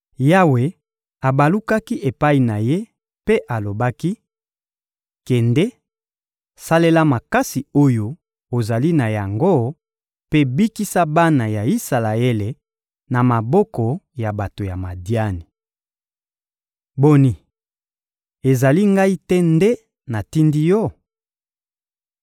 Yawe abalukaki epai na ye mpe alobaki: — Kende, salela makasi oyo ozali na yango mpe bikisa bana ya Isalaele na maboko ya bato ya Madiani. Boni, ezali Ngai te nde natindi yo?